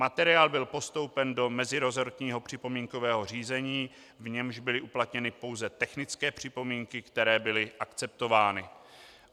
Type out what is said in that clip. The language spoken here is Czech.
Materiál byl postoupen do meziresortního připomínkového řízení, v němž byly uplatněny pouze technické připomínky, které byly akceptovány.